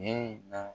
na